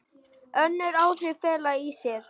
Önnur áhrif fela í sér